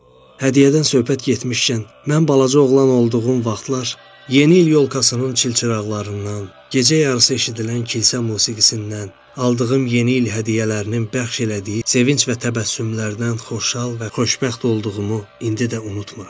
Hədiyyədən söhbət getmişkən, mən balaca oğlan olduğum vaxtlar, Yeni il yolkasının çilçıraqlarından, gecə yarısı eşidilən kilsə musiqisindən, aldığım Yeni il hədiyyələrinin bəxş elədiyi sevinc və təbəssümlərindən xoşhal və xoşbəxt olduğumu indi də unutmıram.